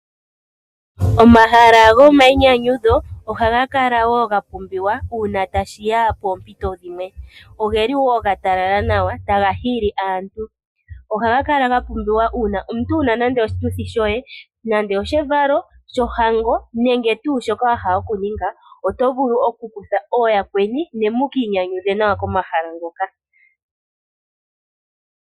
Omahala gomayinyanyudho ogaha kala wo ga pumbiwa uuna tashi ya poompito dhimwe. Oge li wo ga talala nawa taga hili aantu. Ohaga kala ga pumbiwa uuna omuntu wu na nande oshituthi shoye nande oshevalo, shohango nenge tuu shoka wa hala okuninga, oto vulu okukutha ooyakweni ne mu ka inyanyudhe nawa komahala ngoka.